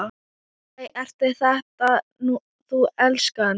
Æ, ert þetta þú elskan?